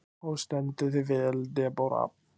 Þú stendur þig vel, Debóra!